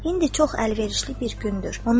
İndi çox əlverişli bir gündür.